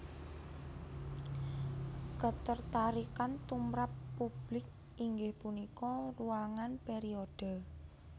Ketertarikan tumrap publik inggih punika ruangan periode